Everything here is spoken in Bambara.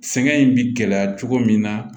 Sɛgɛn in bɛ gɛlɛya cogo min na